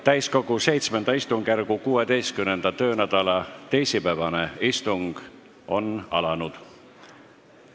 Täiskogu VII istungjärgu 16. töönädala teisipäevane istung on alanud.